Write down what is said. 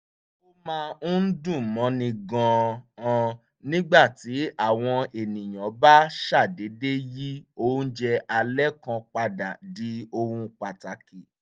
ó máa ń dùn mọ́ni gan-an nígbà tí àwọn ènìyàn bá ṣàdédé yí oúnjẹ alẹ́ kan padà di ohun pàtàkì